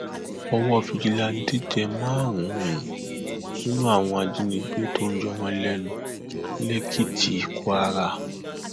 owó fìjìláńtẹ tẹ márùnún nínú àwọn ajínigbé tó ń yọ wọn lẹnu lẹkìtì kwara